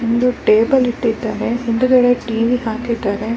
ಗಂಡ್ ಮಕ್ಳಿಗಿಂತ ಹೆಣ್ ಮಕ್ಳುಗೆ ಬಟ್ಟೆ ಅಂದ್ರೆ ತುಂಬಾ ಇಷ್ಟ.